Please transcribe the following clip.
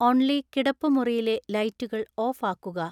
only കിടപ്പുമുറിയിലെ ലൈറ്റുകൾ off ആക്കുക